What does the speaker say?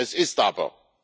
Es ist aber.